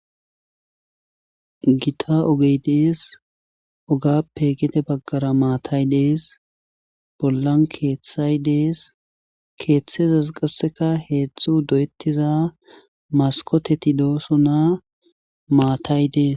Gita ogey dees ogaappe gede baggara maatay dees bollan keethay dees keethazas qasseka heedzdzu doyettiza maskkoteti doosona maatay dees.